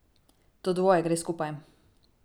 To dvoje gre skupaj.